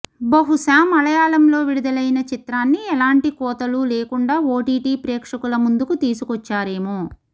బహుశా మలయాళంలో విడుదలైన చిత్రాన్ని ఎలాంటి కోతలు లేకుండా ఓటీటీ ప్రేక్షకుల ముందుకు తీసుకొచ్చారేమో